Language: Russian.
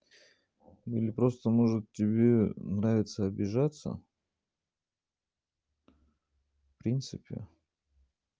или просто может тебе нравится обижаться в принципе